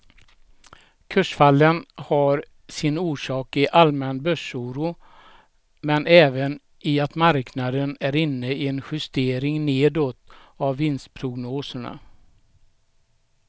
Kursfallen har sin orsak i allmän börsoro men även i att marknaden är inne i en justering nedåt av vinstprognoserna.